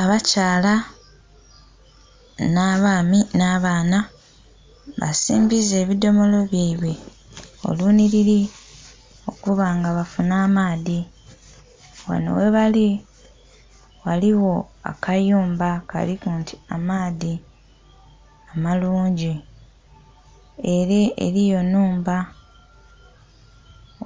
Abakyala nha baami nha baana basimbiza ebidhomolo byaibwe olunhilili okuba nga bafunha amaadhi ghanho ghebali, ghaligho akayumba kaliku nti amaadhi amalungi. Era eriyo nhumba